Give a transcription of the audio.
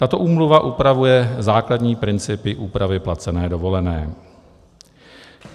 Tato úmluva upravuje základní principy úpravy placené dovolené.